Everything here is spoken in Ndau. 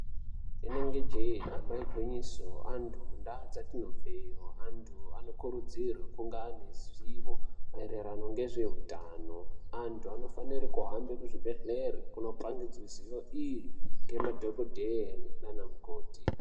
Rinenge jee damba igwinyiso antu mundau dzatinobveyo antu anokurudzirwa kunga aneruzivo maererano nezveutano antu anofanire kuhambe kuzvibhehleya kunopangidzwe ziyo iyi nemadhokodheya nanamukoti.